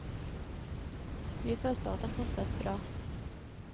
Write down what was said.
Vi følte at den passet bra.